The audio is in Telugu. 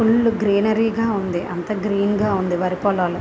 ఫుల్ గ్రీనరీ గా ఉంది. అంత గ్రీన్ గా ఉంది వరి పొలాలు.